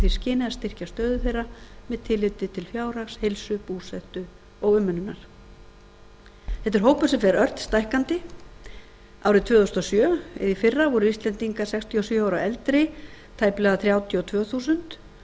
skyni að styrkja stöðu þeirra með tilliti til fjárhags heilsu búsetu og umönnunar þetta er hópur sem fer ört stækkandi árið tvö þúsund og sjö eða í fyrra voru íslendingar sextíu og sjö ára og eldri tæplega þrjátíu og tvö þúsund og